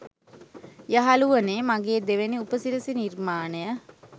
යහලුවනේ මගේ දෙවැනි උපසිරැසි නිර්මාණය